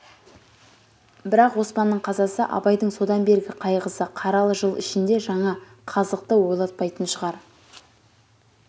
бірақ оспанның қазасы абайдың содан бергі қайғысы қаралы жыл ішінде жаңа қазықты ойлатпайтын шығар